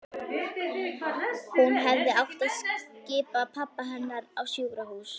Hún hefði átt að skipa pabba hennar á sjúkrahús.